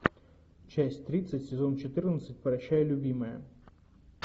часть тридцать сезон четырнадцать прощай любимая